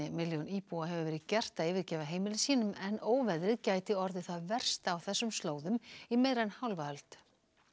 milljón íbúa hefur verið gert að yfirgefa heimili sín en óveðrið gæti orðið það versta á þessum slóðum í meira en hálfa öld